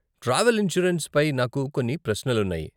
Travel insurance పై నాకు కొన్ని ప్రశ్నలు ఉన్నాయి.